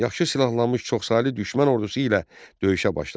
Yaxşı silahlanmış çoxsaylı düşmən ordusu ilə döyüşə başladı.